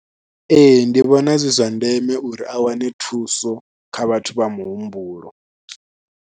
Ee ndi vhona zwi zwa ndeme uri a wane thuso kha vhathu vha muhumbulo.